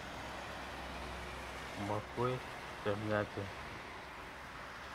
Makwech che miachen.